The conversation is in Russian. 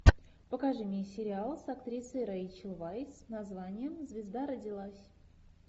покажи мне сериал с актрисой рейчел вайс с названием звезда родилась